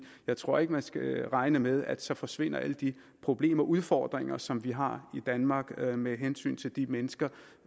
jeg tror ikke man skal regne med at så forsvinder alle de problemer og udfordringer som vi har i danmark med hensyn til de mennesker